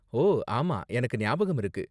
ஓ, ஆமா. எனக்கு ஞாபகமிருக்கு.